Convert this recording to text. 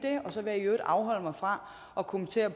og så vil jeg i øvrigt afholde mig fra at kommentere